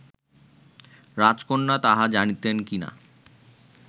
রাজকন্যা তাহা জানিতেন কি না